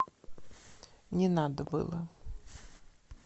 не надо было